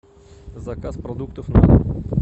заказ продуктов на дом